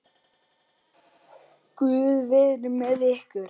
Guð veri með ykkur.